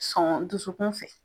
Sɔn dusukun fɛ